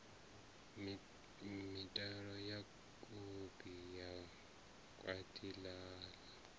mitalo kopi ya gwati la